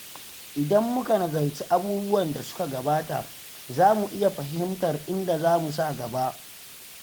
Idan muka nazarci abubuwan da suka gabata, za mu iya fahimtar inda zamu sa gaba.